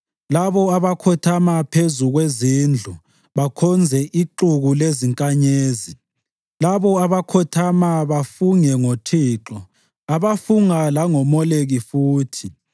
labo abakhothama phezu kwezindlu bakhonze ixuku lezinkanyezi, labo abakhothama bafunge ngoThixo, abafunga langoMoleki futhi,